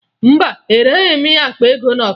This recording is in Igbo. Mba, ereghi m ya akpa ego na ọkara